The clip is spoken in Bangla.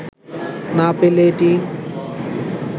না পেলে এটি